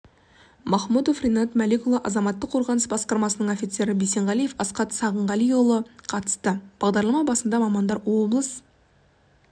махмұдов ринат мәлікұлы азаматтық қорғаныс басқармасының офицері бисенғалиев асхат сағынғалиұлы қатысты бағдарлама басында мамандар облыс